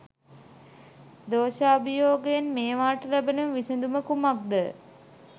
දෝශාභියෝගයෙන් මේවාට ලැබෙන විසදුම කුමක්ද?